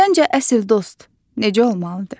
Səncə, əsl dost necə olmalıdır?